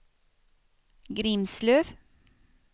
Grimslöv